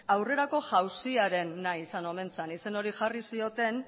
aurrerako izan omen zen izen hori jarri zioten